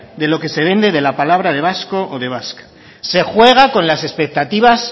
de lo que se vende de la palabra de vasco o de vasca se juega con las expectativas